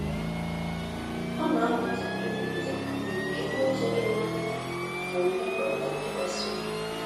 Ọ na-amụta ikwupụta adịghị ike n'ụzọ doro anya na mmekọrịta ntụkwasị obi